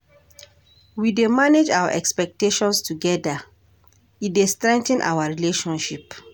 We dey manage our expectations together, e dey strengthen our relationship.